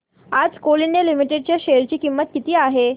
आज coal India limited च्या share ची किंमत किती आहे